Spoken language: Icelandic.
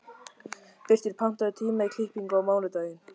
Birtir, pantaðu tíma í klippingu á mánudaginn.